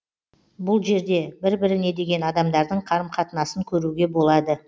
бұл жерде бір біріне деген адамдардың қарым қатынасын көруге болады